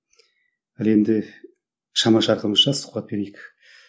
ал енді шама шарқымызша сұхбат берейік